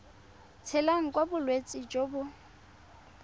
tshelang ka bolwetsi jo bo